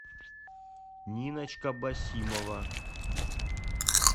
ниночка басимова